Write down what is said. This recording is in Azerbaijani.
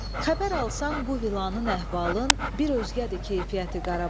Xəbər alsan bu vilanın əhvalın, bir özgədir keyfiyyəti Qarabağ.